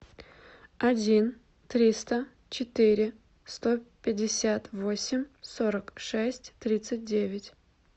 один триста четыре сто пятьдесят восемь сорок шесть тридцать девять